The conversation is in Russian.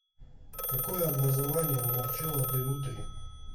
какое образование у марчелло делльутри